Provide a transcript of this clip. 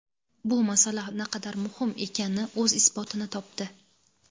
bu masala naqadar muhim ekani o‘z isbotini topdi.